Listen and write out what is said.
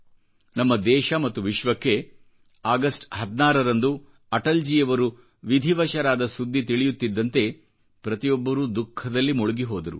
ನಮ್ಮ ದೇಶ ಮತ್ತು ವಿಶ್ವಕ್ಕೆ ಅಗಸ್ಟ್ 16 ರಂದು ಅಟಲ್ಜಿಯವರು ವಿಧಿವಶರಾದ ಸುದ್ದಿ ತಿಳಿಯುತ್ತಿದ್ದಂತೆ ಪ್ರತಿಯೊಬ್ಬರೂ ದುಖಃದಲ್ಲಿಮುಳುಗಿಹೋದರು